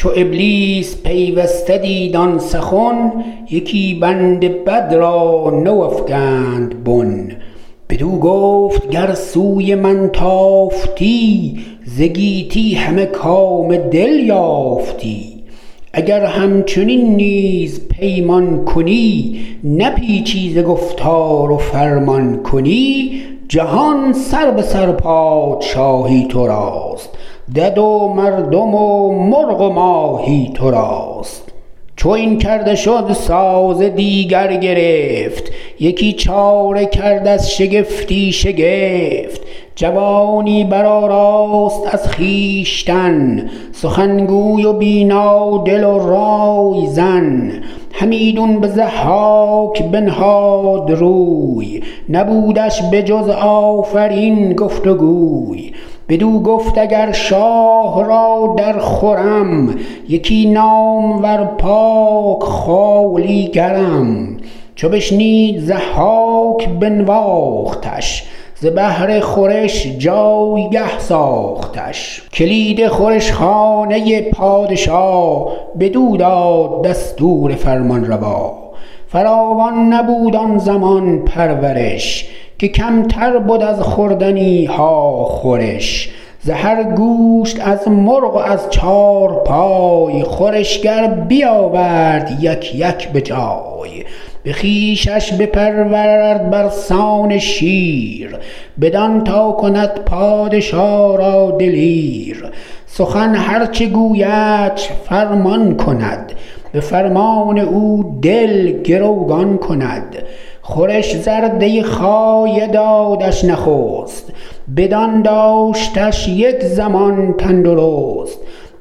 چو ابلیس پیوسته دید آن سخن یکی بند بد را نو افگند بن بدو گفت گر سوی من تافتی ز گیتی همه کام دل یافتی اگر همچنین نیز پیمان کنی نپیچی ز گفتار و فرمان کنی جهان سربه سر پادشاهی تو راست دد و مردم و مرغ و ماهی تو راست چو این کرده شد ساز دیگر گرفت یکی چاره کرد از شگفتی شگفت جوانی برآراست از خویشتن سخنگوی و بینا دل و رایزن همیدون به ضحاک بنهاد روی نبودش به جز آفرین گفت و گوی بدو گفت اگر شاه را در خورم یکی نامور پاک خوالیگرم چو بشنید ضحاک بنواختش ز بهر خورش جایگه ساختش کلید خورش خانه پادشا بدو داد دستور فرمانروا فراوان نبود آن زمان پرورش که کمتر بد از خوردنی ها خورش ز هر گوشت از مرغ و از چارپای خورشگر بیاورد یک یک به جای به خونش بپرورد بر سان شیر بدان تا کند پادشا را دلیر سخن هر چه گویدش فرمان کند به فرمان او دل گروگان کند خورش زرده خایه دادش نخست بدان داشتش یک زمان تندرست